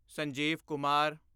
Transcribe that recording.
Sanjeev Kumar